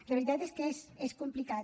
la veritat és que és complicat